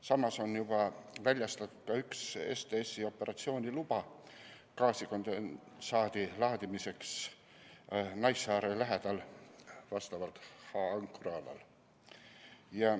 Samas on juba väljastatud üks STS-i operatsiooni luba gaasikondensaadi laadimiseks Naissaare lähedal H‑ankrualal.